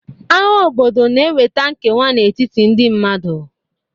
Agha obodo na-eweta nkewa n'etiti ndị mmadụ.